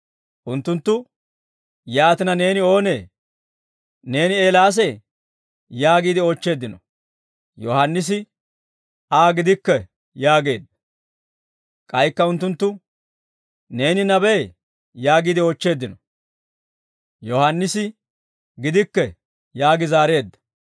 Unttunttu, «Yaatina, neeni oonee? Neeni Eelaasee?» yaagiide oochcheeddino. Yohaannisi, «Aa gidikke» yaageedda. K'aykka unttunttu, «Neeni nabee?» yaagiide oochcheeddino. Yohaannisi, «Gidikke» yaagi zaareedda.